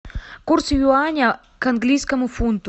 курс юаня к английскому фунту